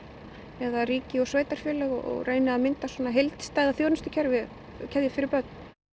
eða ríki og sveitarfélög og reyni að mynda heildstæða þjónustukeðju fyrir börn